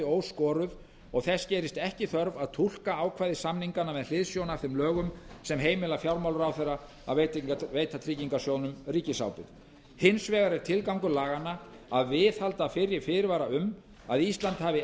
óskoruð og þess gerist ekki þörf að túlka ákvæði samninganna með hliðsjón af þeim lögum sem heimila fjármálaráðherra að veita tryggingarsjóðnum ríkisábyrgð hins vegar er tilgangur laganna að viðhalda fyrri fyrirvara um að ísland hafi